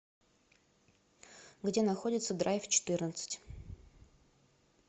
где находится драйв четырнадцать